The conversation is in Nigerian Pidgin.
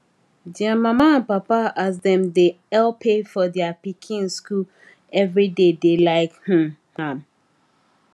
dia mama and papa as dem dey help pay for their pikin school everybody dey like um am